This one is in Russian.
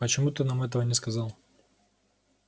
почему ты нам этого не сказал